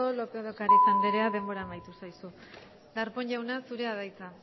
lópez de ocariz andrea denbora amaitu zaizu darpón jauna zurea da hitza